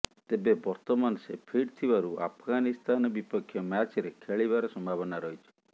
ତେବେ ବର୍ତ୍ତମାନ ସେ ଫିଟ୍ ଥିବାରୁ ଆଫଗାନିସ୍ତାନ ବିପକ୍ଷ ମ୍ୟାଚ୍ରେ ଖେଳିବାର ସମ୍ଭାବନା ରହିଛି